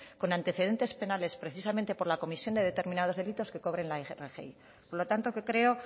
con antecedentes penales precisamente por la comisión de determinados delitos que cobren la rgi por lo tanto que creo